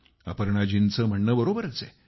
अपर्णाजींचं म्हणणं बरोबरच आहे